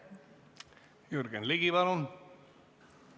Jürgen Ligi, palun!